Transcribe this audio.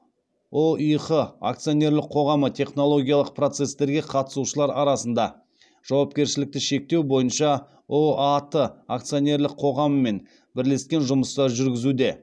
ұих акционерлік қоғамы технологиялық процестерге қатысушылар арасында жауапкершілікті шектеу бойынша ұат акционерлік қоғаммен бірлескен жұмыстар жүргізуде